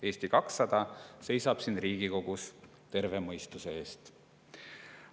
Eesti 200 seisab siin Riigikogus terve mõistuse eest.